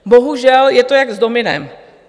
Bohužel je to jak s dominem.